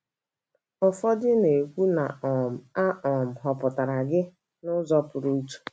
Ụfọdụ na - ekwu na um a um họpụtara gị n’ụzọ pụrụ iche.